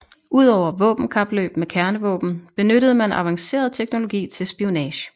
Udover våbenkapløb med kernevåben benyttede man avanceret teknologi til spionage